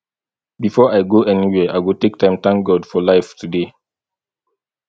before i go anywhere i go take time thank god for life today